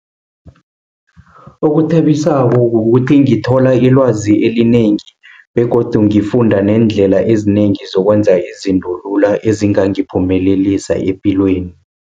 Okuthabisako, kukuthi ngithola ilwazi elinengi, begodu ngifunda neendlela ezinengi zokwenza izinto lula, ezingangiphumelelisa epilweni.